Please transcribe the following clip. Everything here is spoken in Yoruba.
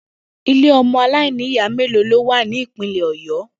Ilé o̩mo̩ aláìníyàá mélòó ni ó wà ní Ìpínlè̩ Ò̩yó̩?